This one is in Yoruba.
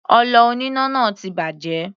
Ọlọ oníná náà ti bàjẹ́.